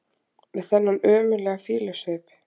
Með þennan ömurlega fýlusvip!